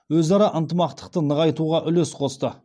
өзара ынтымақтықты нығайтуға үлес қосты